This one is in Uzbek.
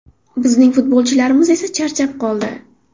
Bizning futbolchilarimiz esa charchab qoldi.